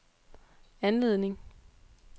anledning